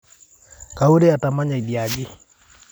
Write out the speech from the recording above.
Kaurie atamanya idia aji